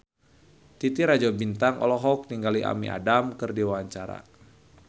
Titi Rajo Bintang olohok ningali Amy Adams keur diwawancara